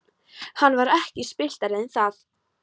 Hann var ekki spilltari en það.